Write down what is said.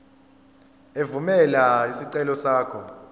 evumela isicelo sakho